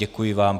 Děkuji vám.